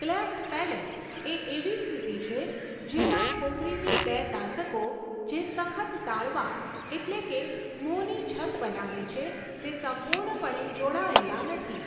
Cleft palate એ એવી સ્થિતિ છે જેમાં ખોપરીની બે તાસકો જે સખત તાળવાં એટલે કે મોંની છત બનાવે છે તે સંપૂર્ણપણે જોડાયેલા નથી.